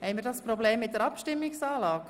Haben wir ein Problem mit der Abstimmungsanlage?